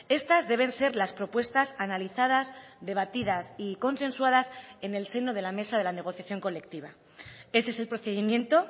estas deben ser las propuestas analizadas debatidas y consensuadas en el seno de la mesa de la negociación colectiva ese es el procedimiento